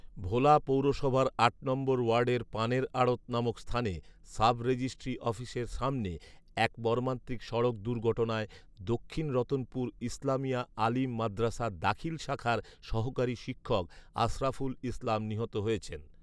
ভোলা পৌরসভার আট নম্বর ওয়ার্ডের পানের আড়ৎ নামক স্থানে সাবরেজিস্ট্রি অফিসের সামনে এক মর্মান্তিক সড়ক দুর্ঘটনায় দক্ষিণ রতনপুর ইসলামিয়া আলিম মাদ্রাসার দাখিল শাখার সহকারী শিক্ষক আশরাফুল ইসলাম নিহত হয়েছেন